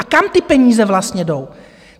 A kam ty peníze vlastně jdou?